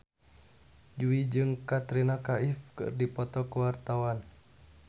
Jui jeung Katrina Kaif keur dipoto ku wartawan